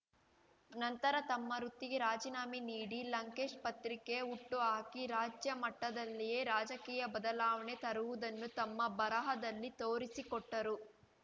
ನಂತರ ತಮ್ಮ ವೃತ್ತಿಗೆ ರಾಜಿನಾಮೆ ನೀಡಿ ಲಂಕೇಶ್‌ ಪತ್ರಿಕೆ ಹುಟ್ಟುಹಾಕಿ ರಾಜ್ಯ ಮಟ್ಟದಲ್ಲಿಯೇ ರಾಜಕೀಯ ಬದಲಾವಣೆ ತರುವುದನ್ನು ತಮ್ಮ ಬರಹದಲ್ಲಿ ತೋರಿಸಿಕೊಟ್ಟರು